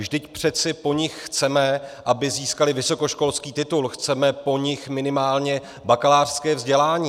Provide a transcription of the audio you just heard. Vždyť přece po nich chceme, aby získaly vysokoškolský titul, chceme po nich minimálně bakalářské vzdělání.